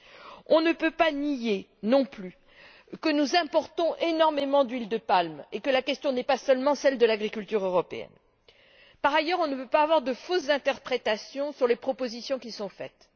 Nous ne pouvons pas nier non plus que nous importons énormément d'huile de palme et que la question n'est pas seulement celle de l'agriculture européenne. Par ailleurs, nous ne pouvons pas avoir de fausse interprétation sur les propositions qui sont faites.